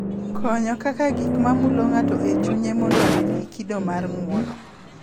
Konyo kaka gik ma mulo ng’ato e chunye mondo obed gi kido mar ng’uono,